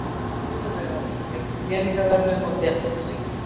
Sigurvegararnir fengu peningaverðlaun og demantshring